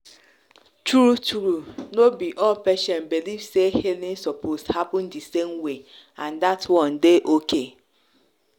true-true no be all patients believe say healing suppose happen the same way and that one dey okay.